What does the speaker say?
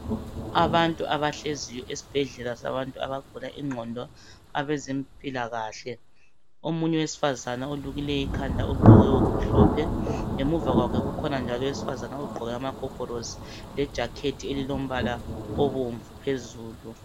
Abantu abahleziyo esibhedlela sabantu abagula ingqondo abezempilakahle. Omunye owesifazane olukileyo ikhanda, ogqoke okumhlophe ngemuva kwakhe kukhona njalo owesifazane ogqoke amagogolosi lejakhethi elilombala obomvu phezulu.